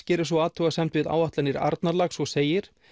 gerir svo athugasemd við áætlanir Arnarlax og segir